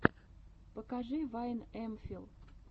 покажи вайн эмфил